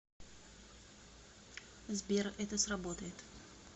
сбер это сработает